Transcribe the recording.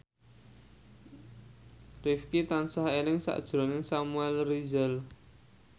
Rifqi tansah eling sakjroning Samuel Rizal